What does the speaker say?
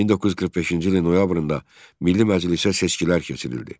1945-ci ilin noyabrında Milli Məclisə seçkilər keçirildi.